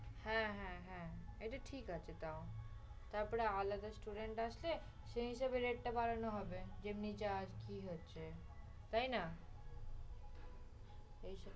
হ্যাঁ হ্যাঁ হ্যাঁ, এটা ঠিক আছে তো। তারপর আলাদা student আসলে সে হিসেবে rate টা বাড়ানো হবে, যেমনি charge ঠিক হয়েছে